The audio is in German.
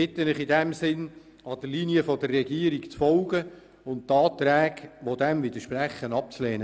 Ich bitte Sie in diesem Sinn, der Linie der Regierung zu folgen und die Anträge, die dem widersprechen, abzulehnen.